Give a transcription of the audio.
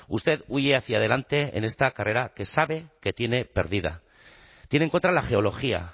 usted huye hacia adelante en esta carrera que sabe que tiene perdida tiene en contra la geología